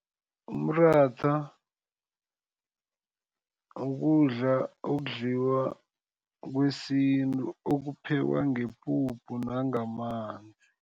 Umratha ukudla okudliwa kwesintu okuphekwa ngepuphu nangamanzi.